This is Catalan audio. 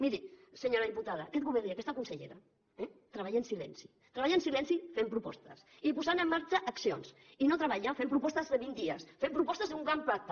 miri senyora diputada aquest govern i aquesta consellera eh treballen en silenci treballen en silenci fent propostes i posant en marxa accions i no treballen fent propostes de vint dies fent propostes d’un gran pacte